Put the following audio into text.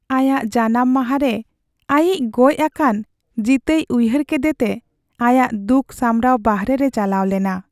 ᱟᱭᱟᱜ ᱡᱟᱱᱟᱢ ᱢᱟᱦᱟ ᱨᱮ ᱟᱹᱭᱤᱡ ᱜᱚᱡ ᱟᱠᱟᱱ ᱡᱤᱛᱟᱹᱭ ᱩᱭᱦᱟᱹᱨ ᱠᱮᱫᱮᱛᱮ ᱟᱭᱟᱜ ᱫᱩᱠ ᱥᱟᱢᱲᱟᱣ ᱵᱟᱦᱨᱮ ᱨᱮ ᱪᱟᱞᱟᱣ ᱞᱮᱱᱟ ᱾